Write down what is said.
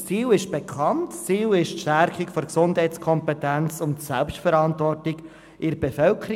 – Das Ziel ist die Stärkung der Gesundheitskompetenz und der Selbstverantwortung der Bevölkerung.